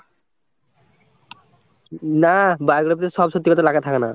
না, biography তে সব সত্যি কথা লেখা থাকে না।